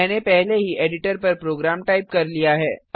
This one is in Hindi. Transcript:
मैंने पहले ही एडिटर पर प्रोग्राम टाइप कर लिया है